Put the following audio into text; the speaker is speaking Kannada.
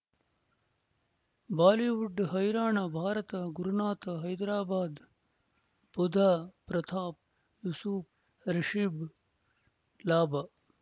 ಬಾಲಿವುಡ್ ಹೈರಾಣ ಭಾರತ ಗುರುನಾಥ ಹೈದರಾಬಾದ್ ಬುಧ್ ಪ್ರತಾಪ್ ಯೂಸುಫ್ ರಿಷಬ್ ಲಾಭ